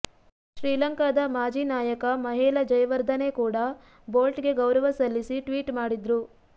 ಶ್ರೀಲಂಕಾದ ಮಾಜಿ ನಾಯಕ ಮಹೇಲ ಜಯವರ್ಧನೆ ಕೂಡ ಬೋಲ್ಟ್ ಗೆ ಗೌರವ ಸಲ್ಲಿಸಿ ಟ್ವೀಟ್ ಮಾಡಿದ್ರು